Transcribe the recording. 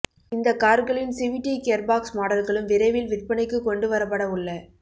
இந்த கார்களின் CVT gearbox மாடல்களும் விரைவில் விற்பனைக்கு கொண்டு வரப்பட உள்ள